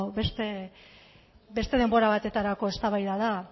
beste denbora batetarako eztabaida da